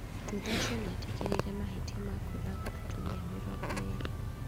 Thutha ũcio nĩetĩkĩrire mahĩtia ma kũũraga atumia mĩrongo ĩrĩ